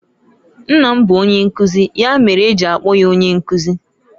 Nna m bu onyenkuzi, ya mere e ji akpo ya Onyenkuzi.